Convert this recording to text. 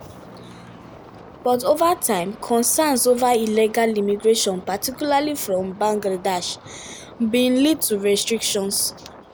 but ova time concerns ova illegal immigration particularly from bangladesh bin lead to restrictions.